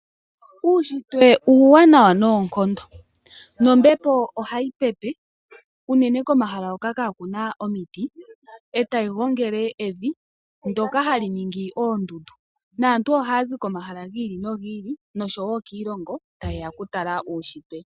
Uunshitwe uuwanawa noonkondo, ombepo ohayi pepe unene komahala hoka kaa ku na omiti e tayi gongele evi ndyoka hali ningi oondundu naantu ohaya zi komahala gi ili nogi ili noshowo kiilongo taye ya okutala Uunshitwe.